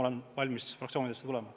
Olen valmis ka fraktsioonidesse tulema.